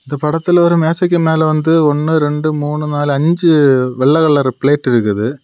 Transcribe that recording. இந்த படத்துல ஒரு மேசைக்கு மேல வந்து ஒன்னு ரெண்டு மூணு நாலு அஞ்சு வெள்ளை கலர் பிளேட் இருக்குது.